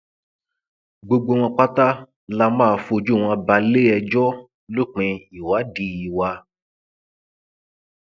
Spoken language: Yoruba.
gbogbo wọn pátá la máa fojú wọn balẹẹjọ lópin ìwádìí wa